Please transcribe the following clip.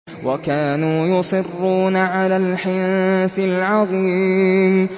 وَكَانُوا يُصِرُّونَ عَلَى الْحِنثِ الْعَظِيمِ